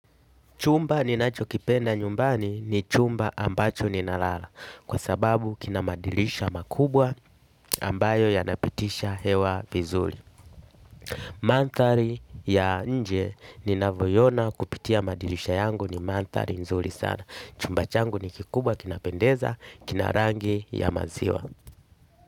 Chumba ninacho kipenda nyumbani, ni chumba ambacho ninalala. Kwa sababu kinamadirisha makubwa, ambayo yanapitisha hewa vizuri. Manthari ya nje, ninavyoiona kupitia madirisha yangu, ni manthari nzuri sana. Chumba changu ni kikubwa kinapendeza, kina rangi ya maziwa.